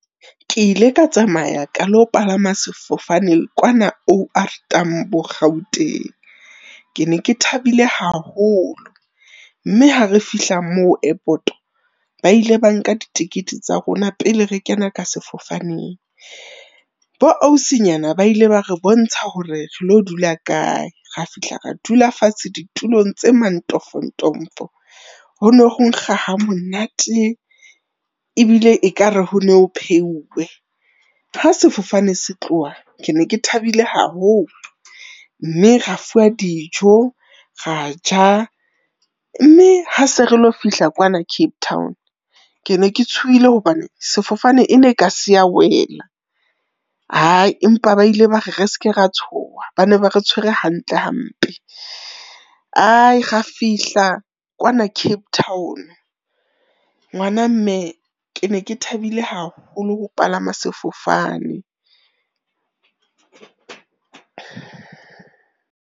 Ke ile ka tsamaya ka lo palama sefofane kwana O_R Tambo, Gauteng. Ke ne ke thabile haholo mme ha re fihla moo airport, ba ile ba nka ditekete tsa rona pele re kena ka sefofaneng. Bo ausinyana ba ile ba re bontsha hore re lo dula kae, ra fihla ra dula fatshe ditulong tse mantofontofo, hono ho nkga ha monate, ebile ekare ho no ho pheuwe. Ha sefofane se tloha ke ne ke thabile haholo mme ra fuwa dijo, ra ja. Mme ha se re lo fihla kwana Cape Town, ke ne ke tshohile hobane sefofane e ne ka se ya wela. Empa ba ile ba re, re ske ra tsoha, ba ne ba re tshwere hantle hampe. Ra fihla kwana Cape Town. Ngwana mme, ke ne ke thabile haholo ho palama sefofane.